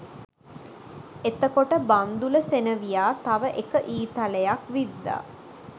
එතකොට බන්ධුල සෙනෙවියා තව එක ඊතලයක් විද්දා